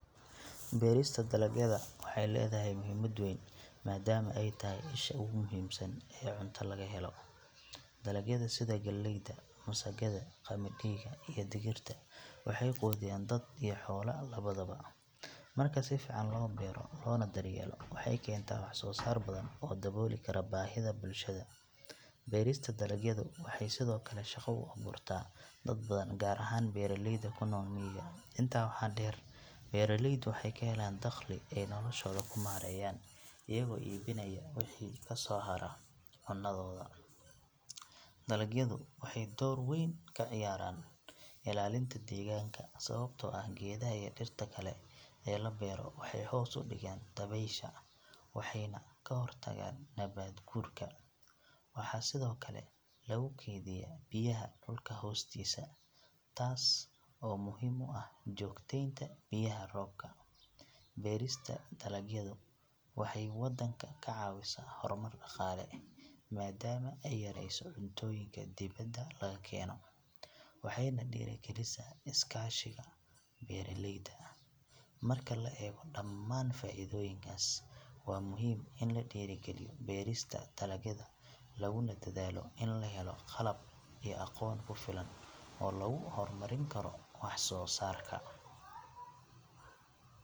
Beerista dalagyada waxay leedahay muhiimad weyn maadaama ay tahay isha ugu muhiimsan ee cunto laga helo. Dalagyada sida galleyda, masagada, qamadiga iyo digirta waxay quudiyaan dad iyo xoolo labadaba. Marka si fiican loo beero loona daryeelo, waxay keentaa wax soo saar badan oo dabooli kara baahida bulshada. Beerista dalagyadu waxay sidoo kale shaqo u abuurtaa dad badan gaar ahaan beeraleyda ku nool miyiga. Intaa waxaa dheer, beeraleydu waxay ka helaan dakhli ay noloshooda ku maareeyaan iyagoo iibinaya wixii ka soo hara cunadooda. Dalagyadu waxay door weyn ka ciyaaraan ilaalinta deegaanka sababtoo ah geedaha iyo dhirta kale ee la beero waxay hoos u dhigaan dabaysha waxayna ka hortagaan nabaad guurka. Waxaa sidoo kale lagu keydiyaa biyaha dhulka hoostiisa taas oo muhiim u ah joogtaynta biyaha roobka. Beerista dalagyadu waxay waddanka ka caawisaa horumar dhaqaale maadaama ay yareyso cuntooyinka dibadda laga keeno, waxayna dhiirrigelisaa is-kaashiga beeraleyda. Marka la eego dhammaan faa’iidooyinkaas, waa muhiim in la dhiirrigeliyo beerista dalagyada laguna dadaalo in la helo qalab iyo aqoon ku filan oo lagu horumarin karo wax soo saarka.